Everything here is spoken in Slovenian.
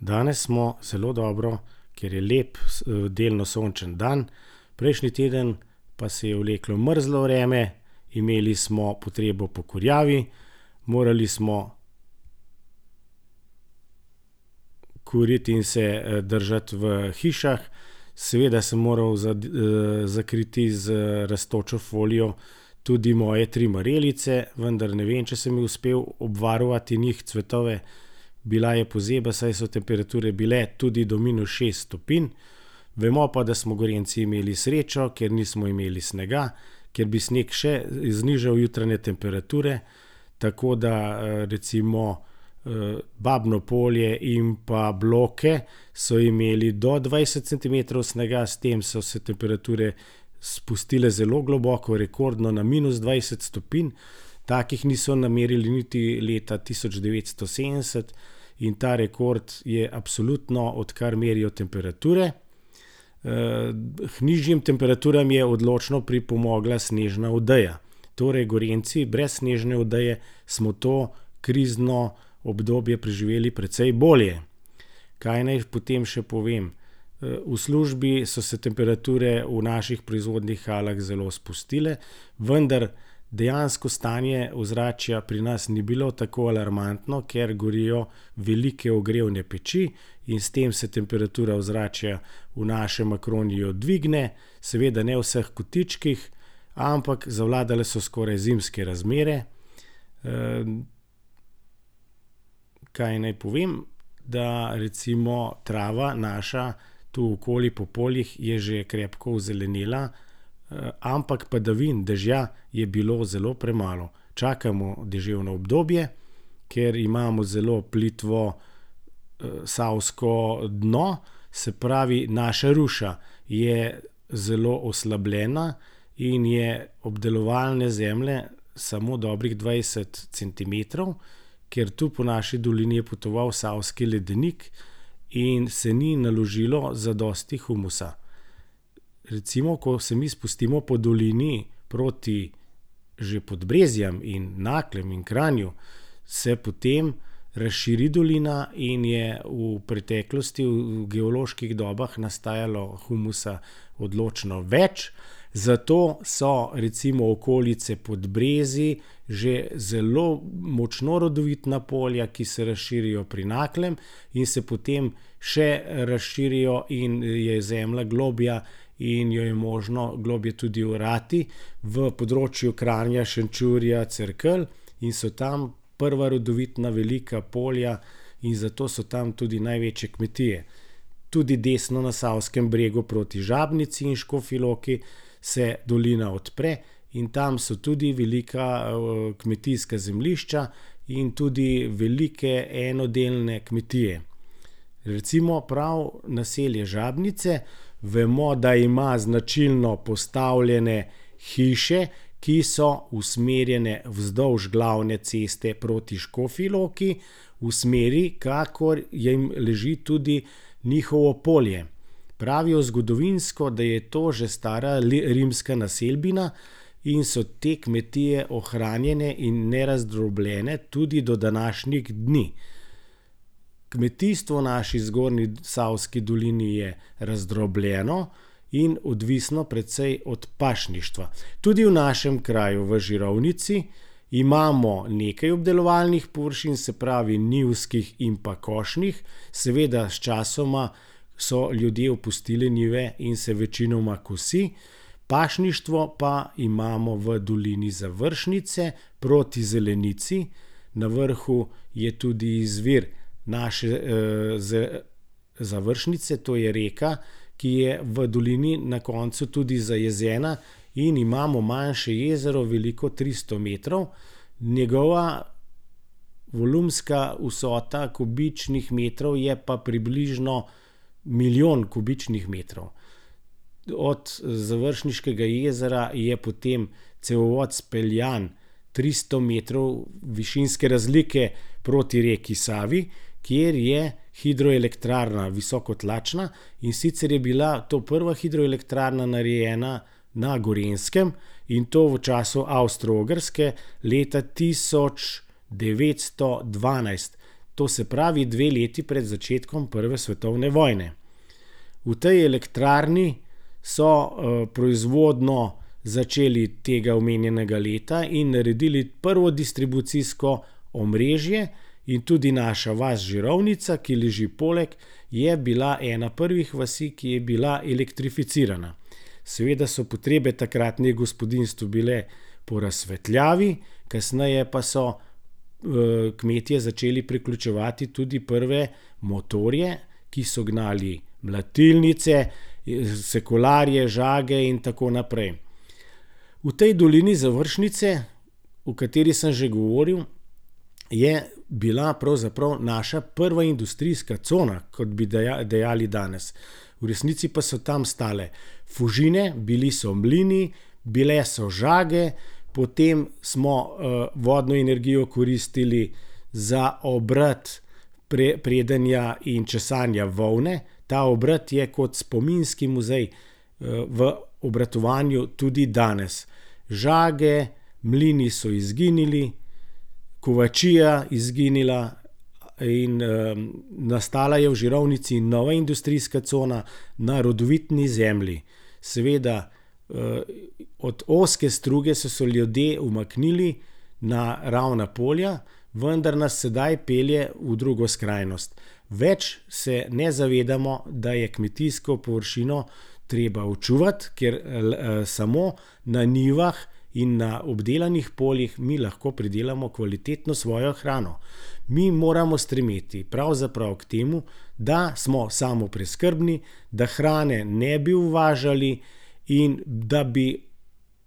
Danes smo zelo dobro, ker je lep delno sončen dan. Prejšnji teden pa se je vleklo mrzlo vreme, imeli smo potrebo po kurjavi. Morali smo kuriti in se, držati v hišah. Seveda sem moral za zakriti z rastočo folijo tudi moje tri marelice, vendar ne vem, če sem jih uspel obvarovati njih cvetove. Bila je pozeba, saj so temperature bile tudi do minus šest stopinj. Vemo pa, da smo Gorenjci imeli srečo, ker nismo imeli snega, ker bi sneg še, znižali jutranje temperature, tako da, recimo, Babno polje in pa Bloke so imeli do dvajset centimetrov snega. S tem so se temperature spustile zelo globoko, rekordno na minus dvajset stopinj. Takih niso namerili niti leta tisoč devetsto sedemdeset. In ta rekord je absoluten, odkar merijo temperature. k nižjim temperaturam je odločno pripomogla snežna odeja. Torej Gorenjci brez snežne odeje smo to krizno obdobje preživeli precej bolje. Kaj naj potem še povem? v službi so se temperature v naših proizvodnih halah zelo spustile. Vendar dejansko stanje ozračja pri nas ni bilo tako alarmantno, ker gorijo velike ogrevne peči. In s tem se temperatura ozračja v našem Acroniju dvigne, seveda ne v vseh kotičkih, ampak zavladale so skoraj zimske razmere. kaj naj povem, da recimo trava naša tu okoli po poljih je že krepko ozelenela. ampak padavin, dežja je bilo zelo premalo. Čakamo deževno obdobje, ker imamo zelo plitvo, savsko dno, se pravi, naša ruša je zelo oslabljena in je obdelovanje zemlje samo dobrih dvajset centimetrov, ker tu po naši dolini je potoval Savski ledenik in se ni naložilo zadosti humusa. Recimo, ko se mi spustimo po dolini proti že Podbrezjem in Naklem in Kranju, se potem razširi dolina in je v preteklosti v geoloških dobah nastajalo humusa odločno več, zato so recimo okolice Podbrezij že zelo močno rodovitna polja, ki se razširijo pri Naklem in se potem še razširijo in je zemlja globlja in jo je možno globlje tudi orati, v področju Kranja, Šenčurja, Cerkelj. In so tam prva rodovitna velika polja in zato so tam tudi največje kmetije. Tudi desno na savskem bregu proti Žabnici in Škofji Loki se dolina odpre in tam so tudi velika, kmetijska zemljišča in tudi velike enodelne kmetije. Recimo prav naselje Žabnice, vemo, da ima značilno postavljene hiše, ki so usmerjene vzdolž glavne ceste proti Škofji Loki v smeri, kakor je, leži tudi njihovo polje. Pravijo zgodovinsko, da je to že stara rimska naselbina in so te kmetije ohranjene in nerazdrobljene tudi do današnjih dni. Kmetijstvo naši zgornji Savski dolini je razdrobljeno in odvisno precej od pašništva. Tudi v našem kraju v Žirovnici imamo nekaj obdelovalnih površin, se pravi njivskih in pa košnih. Seveda sčasoma so ljudje opustili njive in se večinoma kosi. Pašništvo pa imamo v dolini Završnice proti Zelenici na vrhu je tudi izvir naše, Završnice, to je reka, ki je v dolini na koncu tudi zajezena in imamo manjše jezero, veliko tristo metrov. Njegova volumska vsota, kubičnih metrov je pa približno milijon kubičnih metrov. Od Završniškega jezera je potem cevovod izpeljan tristo metrov višinske razlike proti reki Savi, kjer je hidroelektrarna, visokotlačna. In sicer je bila to prva hidroelektrarna, narejena na Gorenjskem, in to v času Avstro-Ogrske leta tisoč devetsto dvanajst. To se pravi, dve leti pred začetkom prve svetovne vojne. V tej elektrarni so, proizvodnjo začeli tega omenjenega leta in naredili prvo distribucijsko omrežje in tudi naša vas Žirovnica, ki leži poleg, je bila ena prvih vasi, ki je bila elektrificirana. Seveda so potrebe v takratnem gospodinjstvu bile po razsvetljavi, kasneje pa so, kmetje začeli priključevati tudi prve motorje, ki so gnali mlatilnice, cirkularje, žage in tako naprej. V tej dolini Završnice, o kateri sem že govorili, je bila pravzaprav naša prva industrijska cona, kot bi dejali danes. V resnici pa so tam stale Fužine, bili so mlini, bile so žage, potem smo, vodno energijo koristili za obrt predenja in česanja volne. Ta obrt je kot spominski muzej, v obratovanju tudi danes. Žage, mlini so izginili, kovačija izginila in, nastala je v Žirovnici nova industrijska cona na rodovitni zemlji. Seveda, od ozke struge so se ljudje umaknili na ravna polja, vendar nas sedaj pelje v drugo skrajnosti. Več se ne zavedamo, da je kmetijsko površino treba očuvati, ker, samo na njivah in na obdelanih poljih mi lahko pridelamo kvalitetno svojo hrano. Mi moramo stremeti pravzaprav k temu, da smo samopreskrbni, da hrane ne bi uvažali in da bi